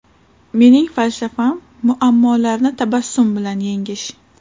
Mening falsafam muammolarni tabassum bilan yengish.